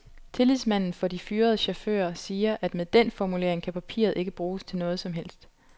Tillidsmanden for de fyrede chauffører, siger, at med den formulering kan papiret ikke bruges til noget som helst.